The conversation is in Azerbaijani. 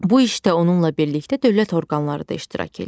Bu işdə onunla birlikdə dövlət orqanları da iştirak eləyir.